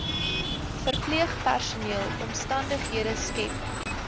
verpleegpersoneel omstandighede skep